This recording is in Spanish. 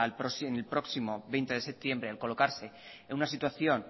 en el próximo veinte de septiembre al colocarse en una situación